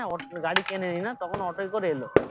গাড়ি কেনেনি না তখন auto করে এলো